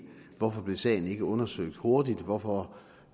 hvorfor sagen ikke blev undersøgt hurtigt hvorfor